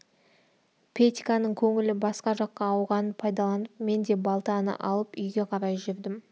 петьканың көңілі басқа жаққа ауғанын пайдаланып мен де балтаны алып үйге қарай жүрдім